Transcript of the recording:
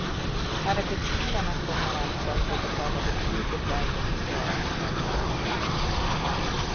Arbetsgivarna kommer alltså att få betala betydligt lägre socialförsäkringsavgifter.